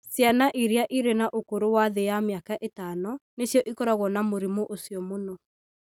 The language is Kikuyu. Ciana iria irĩ na ũkũrũ wa thĩ ya mĩaka ĩtano nĩcio ikoragwo na mũrimũ ũcio mũno